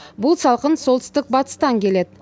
бұл салқын солтүстік батыстан келеді